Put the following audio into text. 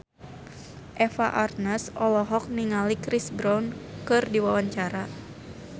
Eva Arnaz olohok ningali Chris Brown keur diwawancara